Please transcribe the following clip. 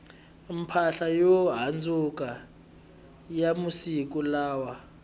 mpahla yo handzuka ya masiku lawa